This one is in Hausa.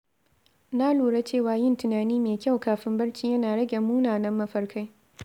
Na lura cewa yin tunani mai kyau kafin barci yana rage munanan mafarkai.